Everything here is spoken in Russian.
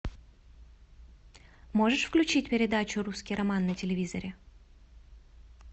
можешь включить передачу русский роман на телевизоре